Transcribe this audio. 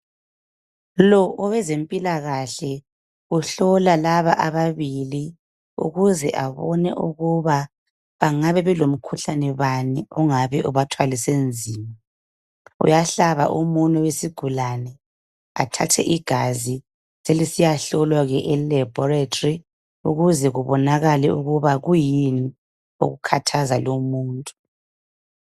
Lo ngowezempilakahle uhlola laba ababibili ukuze abone ukuba bengaba belomkhuhlane bani ongabe ubathwalise nzima uyahlaba umunwe wesigulane athathe igazi selisiyahlolwa ke e laboratory ukuze kubonakale ukuba kuyini okukhathaza lo umuntu .